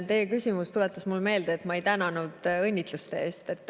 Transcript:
Teie küsimus tuletas mulle meelde, et ma ei tänanud õnnitluste eest.